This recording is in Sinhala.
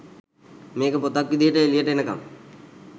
මේක පොතක් විදිහට එලියට එනකම්